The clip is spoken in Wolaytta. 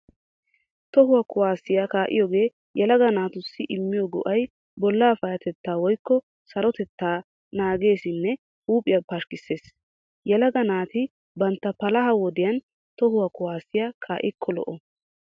Toho kuwaasiya kaa'iyoogee yelaga naatussi immiyo go'ay bolla payyatettaa woykko sarotettaa naageesinne huuphiyaa pashkkissees. Yelaga naati bantta palaha wodiyan toho kuwaasiya kaa'ikko lo'o.